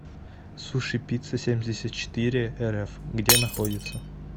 сушипиццасемьдесятчетырерф где находится